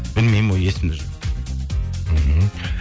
білмеймін ол есімде жоқ мхм